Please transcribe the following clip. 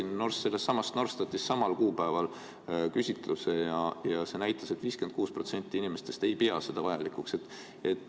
Ma tellisin sellestsamast Norstatist samal kuupäeval küsitluse ja see näitas, et 56% inimestest ei pea seda vajalikuks.